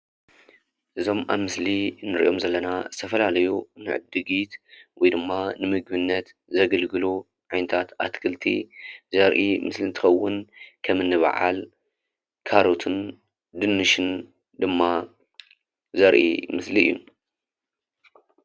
እዞም ኣብ ምስሊ እንሪኦም ዘለና ዝተፈላለዩ ንዕድጊት ወይ ድማ ንምግብነት ዘግልግሉ ዓይነታት ኣትክልቲ ዘርኢ ምስሊ እንትኸውን ከም እኒ በዓል ካሮትን ድንሽን ድማ ዘርኢ ምስሊ እዩ፡፡